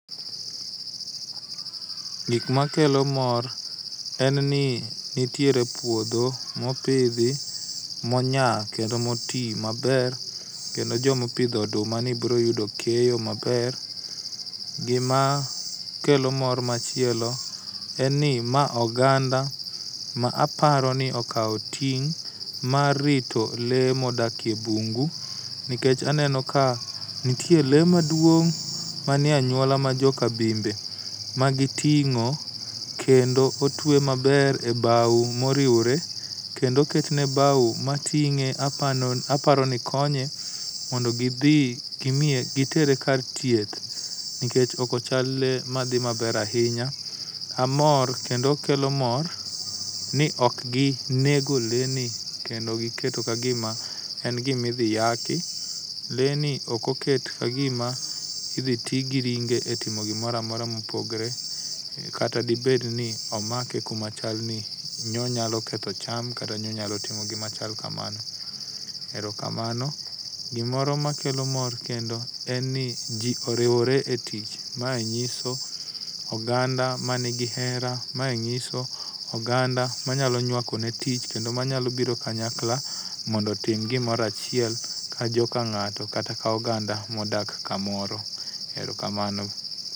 Gik makelo mor en ni nitiere puodho mopidhi, monya kendo moti maber kendo joma opidho odumani biro yudo keyo maber. Gima kelo mor machielo en ni ma oganda ma aparo ni okawo ting' mar rito le modak e bungu nikech aneno ka nitie lee maduong' manie anyuola majoka bimbe magiting'o kendo otwe maber ebao moriwore kendo oketne bao mating'e apa aparoni konye mondo gidhi gimiye gitere kar thieth nikech ok chal lee madhi maber ahinya amor kendo kelo mor ni ok ginego leni, kendo giketo kagima en gima idhi yaki. Lee ni ok oket kagima idhi ti gi ringe etimo gimoro amora mopogore kata dibed ni omake kuma chal ni ne onyalo ketho cham kata ne onyalo timo gima chal kamano. Erokamano, gimoro makelo mor kendo en ni ji oriwore e tich, mae nyiso oganda man g hera mae nyiso oganda manyalo nywakone tich kendo manyalo biro kanyakla mondo otim gimoro achiel kajoka ng'ato kata ka oganda modak kamoro. Erokamano.